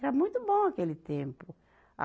Era muito bom aquele tempo. a